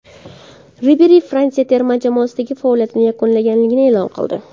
Riberi Fransiya terma jamoasidagi faoliyatini yakunlaganini e’lon qildi.